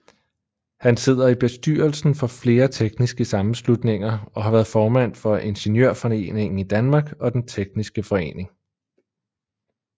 Han sidder i bestyrelsen for flere tekniske sammenslutninger og har været formand for Ingeniørforeningen i Danmark og Den tekniske Forening